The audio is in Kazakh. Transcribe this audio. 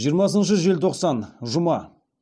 жиырмасыншы желтоқсан жұма